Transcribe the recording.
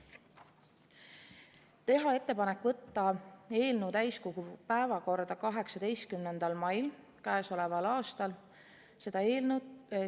Esiteks, teha ettepanek võtta eelnõu täiskogu 18. mai istungi päevakorda.